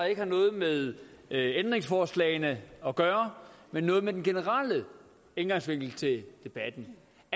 ikke har noget med ændringsforslagene at gøre men noget med den generelle indgangsvinkel til debatten